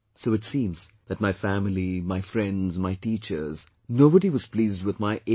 So it seems that my family, my friends, my teachers, nobody was pleased with my 89